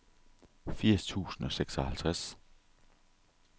firs tusind og seksoghalvtreds